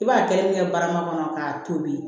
I b'a kɛrɛ min kɛ barama kɔnɔ k'a tobi